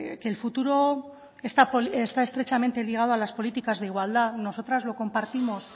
que el futuro de está estrechamente ligado a las políticas de igualdad nosotras lo compartimos